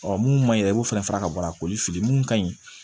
mun man ɲi yɛrɛ i b'o fɛnɛ fara ka bɔ a koli mun ka ɲi